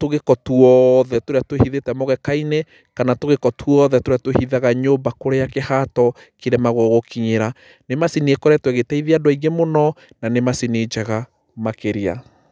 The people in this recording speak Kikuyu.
tũgĩko twothe tũrĩa twĩhithĩte mũgeka-inĩ kana tũgĩko twothe tũrĩa twĩhithaga nyũmba kũrĩa kĩhato kĩremagwo gũkinyĩra. Nĩ macini ĩkoretwo ĩgĩteithia andũ aingĩ mũno na nĩ macini njega makĩria.